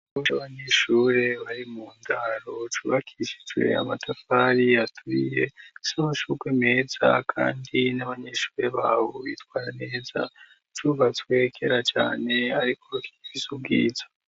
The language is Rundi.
Bso abanyishure bari mu ndaro cubakisha ijuro ya matapari yaturiye sinko shurwe meza, kandi n'abanyishure bawe bitwara neza cubatswe kera cane, ariko rutiviso ubwiza.